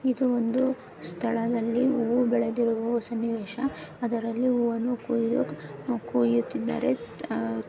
ಇದು ಒಂದು ಸ್ಥಳದಲ್ಲಿ ಹೂವು ಬೆಳೆದಿರುವ ಸನ್ನಿವೇಶ ಅದರಲ್ಲಿ ಹೂವನ್ನುಕುಯು ಕುಯುತ್ತಿದಾರೆ ಅಹ್ --